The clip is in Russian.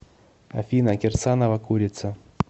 афина кирсанова курица